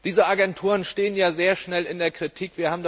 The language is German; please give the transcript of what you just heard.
Diese Agenturen stehen ja sehr schnell in der Kritik.